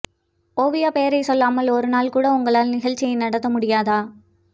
ஓவியா பெயரை சொல்லாமல் ஒரு நாள் கூட உங்களால் நிகழ்ச்சியை நடத்த முடியாதா